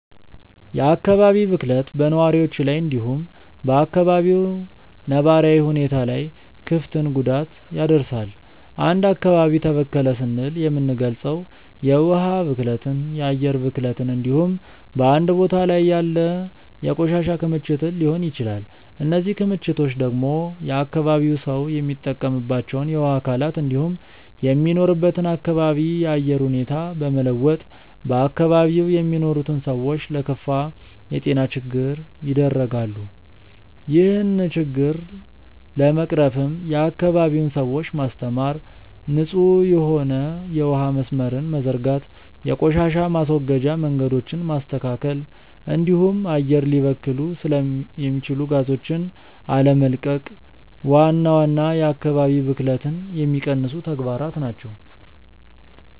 የአካባቢ ብክለት በነዋሪዎች ላይ እንዲሁም በ አካባቢው ነባራዊ ሁኔታ ላይ ክፍትን ጉዳት ያደርሳል። አንድ አካባቢ ተበከለ ስንል የምንልገጸው የውሀ ብክለትን፣ የአየር ብክለትን እንዲሁም በአንድ ቦታ ላይ ያለ የቆሻሻ ክምችትን ሊሆን ይችላል። እነዚህ ክምችቶች ደግሞ የአካባቢው ሰው የሚጠቀምባቸውን የውሀ አካላት እንዲሁም የሚኖርበትን አካባቢ የአየር ሁኔታ በመለወጥ በአካባቢው የሚኖሩትን ሰዎች ለከፋ የጤና ችግር ይደረጋሉ። ይህን ችግር ለመቅረፍም የአካባቢውን ሰዎች ማስተማር፣ ንጹህ የሆነ የውሀ መስመርን መዘርጋት፣ የቆሻሻ ማስወገጃ መንገዶችን ማስተካከል እንዲሁም አየር ሊበክሉ የሚችሉ ጋዞችን አለመቀቅ ዋና ዋና የአካባቢ ብክለትን የሚቀንሱ ተግባራት ናቸው።